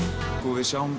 við sjáum